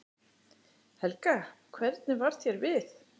Helga: Hvernig varð þér við?